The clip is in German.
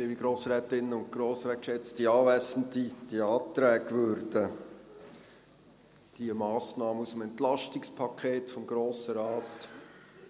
Diese Anträge würden die Massnahmen aus dem Entlastungspaket des Grossen Rates